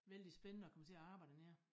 Vældig spændende at komme til at arbejde dernede